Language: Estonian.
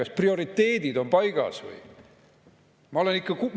Kas prioriteedid on paigas?